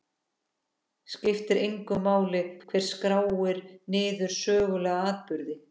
Skiptir engu máli hver skráir niður sögulega atburði?